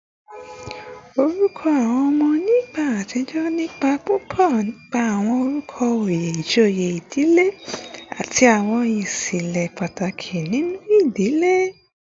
Orúkọ àwọn ọmọ ní ìgbà àtijọ́ ní ipa púpọ̀ nípa àwọn orúkọ oyè ìjòyè ìdílé àti àwọn ìṣẹ̀lẹ̀ pàtàkì nínú ìdílé